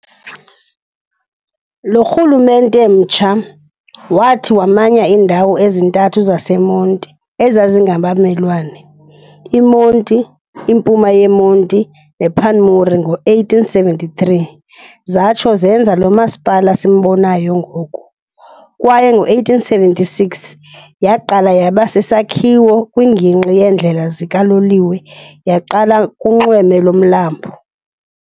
Lo rhulumente mtsha wathi wamanya indawo ezintathu zaseMonti ezazingabamelwane, iMonti, impuma yeMonti kunye nePanmure ngo-1873, zatsho zenza lo Masipala simbonayo ngoku, kwaye ngo-1876 yaqala yaba sisakhiwo kwingingqi yeendlela zikaloliwe, yaqala kunxweme lomlambo.